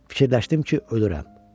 Fikirləşdim ki, ölürəm.